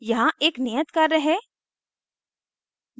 यहाँ एक नियत कार्य है